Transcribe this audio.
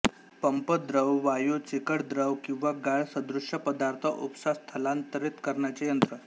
pump द्रव वायू चिकट द्रव किंवा गाळ सदृश्य पदार्थ उपसा स्थलांतरित करण्याचे यंत्र